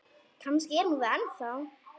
Kannski er hún það ennþá.